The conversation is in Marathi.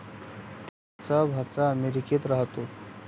त्यांचा भाचा अमेरिकेत राहतो.